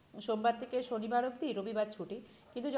সোমবার থেকে শনিবার অবধি রবিবার ছুটি কিন্তু